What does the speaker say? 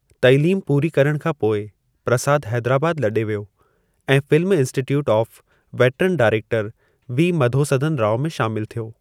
तइलीम पूरी करणु खां पोइ प्रसादु हैदराबादि लॾे व्यो ऐं film institute of veteran director V मधोसधनु राव में शामिलु थियो।